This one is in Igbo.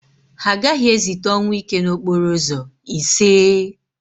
Ha agaghị ezite ọnwụike n'okporo ụzọ, iseee!